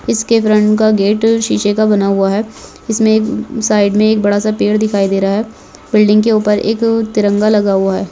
इसके फ्रन्ट का गेट शीशे का बना हुआ है इसमे एक साइड मे एक बड़ा सा पेड़ दिखाई दे रहा है बिल्डिंग के ऊपर एक तिरंगा लगा हुआ है।